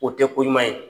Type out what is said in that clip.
O tɛ ko ɲuman ye